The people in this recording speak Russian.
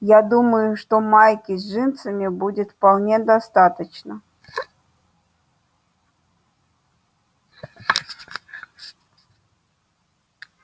я думаю что майки с джинсами будет вполне достаточно